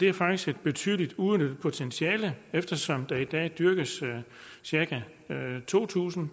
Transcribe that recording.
er faktisk et betydeligt uudnyttet potentiale eftersom der i dag dyrkes cirka to tusind